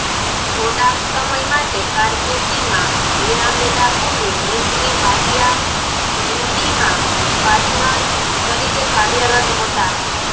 થોડાંક સમય માટે કારકિર્દીમાં વિરામ લીધાં પૂર્વે મિસ્ત્રી વાડિયા ઘેંડીમાં પાર્ટનર તરીકે કાર્યરત હતાં